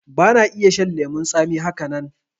Ba na iya shan lemon tsami haka nan